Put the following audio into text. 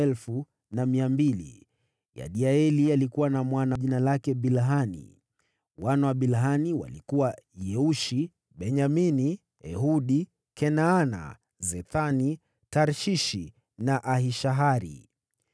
Mwana wa Yediaeli alikuwa: Bilhani. Wana wa Bilhani walikuwa: Yeushi, Benyamini, Ehudi, Kenaana, Zethani, Tarshishi na Ahishahari.